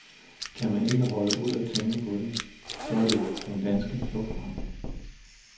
Kan man ikke holde ud at tænke på det, så er der jo den danske flugtvej.